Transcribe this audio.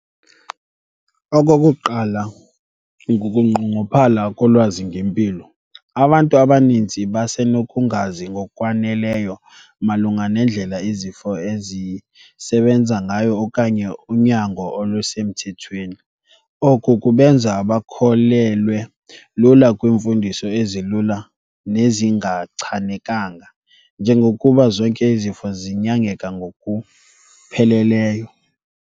Okokuqala, kukunqongophala kolwazi ngempilo. Abantu abaninzi basenokungazi ngokwaneleyo malunga nendlela izifo ezisebenza ngayo okanye unyango olusemthethweni. Oku kubenza bakholelwe lula kwiimfundiso ezilula nezingachanekanga, njengokuba zonke izifo zinyangeka ngokupheleleyo.